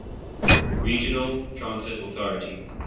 regional transit authority